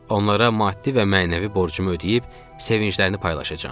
Onlara maddi və mənəvi borcumu ödəyib sevincini paylaşacam.